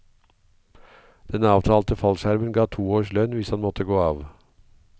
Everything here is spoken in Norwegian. Den avtalte fallskjermen ga to års lønn hvis han måtte gå av.